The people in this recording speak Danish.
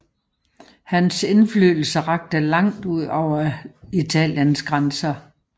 Hans indflydelse rakte langt ud over Italiens grænser